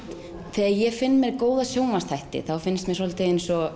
þegar ég finn mér góða sjónvarpsþætti þá finnst mér svolítið eins og